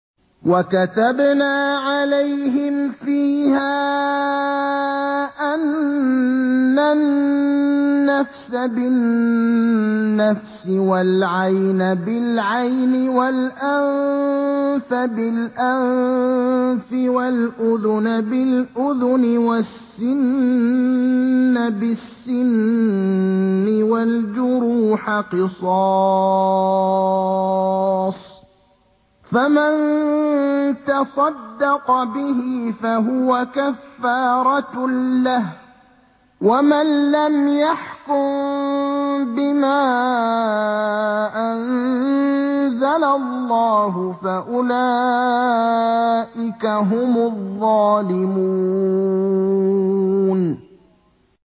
وَكَتَبْنَا عَلَيْهِمْ فِيهَا أَنَّ النَّفْسَ بِالنَّفْسِ وَالْعَيْنَ بِالْعَيْنِ وَالْأَنفَ بِالْأَنفِ وَالْأُذُنَ بِالْأُذُنِ وَالسِّنَّ بِالسِّنِّ وَالْجُرُوحَ قِصَاصٌ ۚ فَمَن تَصَدَّقَ بِهِ فَهُوَ كَفَّارَةٌ لَّهُ ۚ وَمَن لَّمْ يَحْكُم بِمَا أَنزَلَ اللَّهُ فَأُولَٰئِكَ هُمُ الظَّالِمُونَ